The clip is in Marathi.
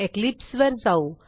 इक्लिप्स वर जाऊ